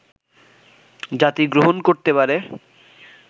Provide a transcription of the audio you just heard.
জাতি গ্রহণ করতে পারে